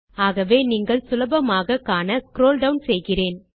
ஆகவே நீங்கள் சுலபமாக காண ஸ்க்ரோல் டவுன் செய்கிறேன்